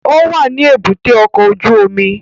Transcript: Ó wà ní èbúté ọkọ̀ ojú omi